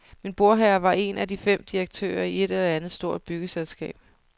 Min bordherre var en af de fem direktører i et eller andet stort byggeselskab.